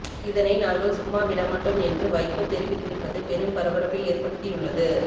இதனை நாங்கள் சும்மா விடமாட்டோம் என்று வைகோ தெரிவித்திருப்பது பெரும் பரபரப்பை ஏற்படுத்தியுள்ளது